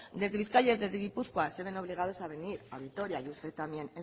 desde bizkaia y desde gipuzkoa se ven obligados a venir a vitoria y usted también